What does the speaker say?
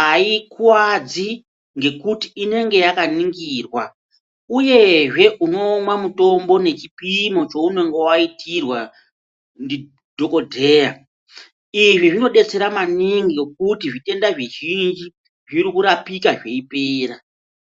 aikuwadzi ngekuti inenge yakaningirwa uyezve unomwa mutombo nechipimo chaunenge waitirwa ndidhokodheya izvi zvinodetsera maningi ngekuti zvitenda zvizhinji zviri kurapika zveiyipera.